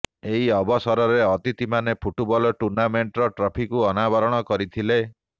ଏହି ଅବସରରେ ଅତିଥିମାନେ ଫୁଟବଲ ଟୁର୍ଣ୍ଣାମେଂଟର ଟ୍ରଫିକୁ ଅନାବରଣ କରିଥିଲେ